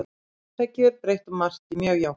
Þetta er gjörbreytt og mjög jákvætt.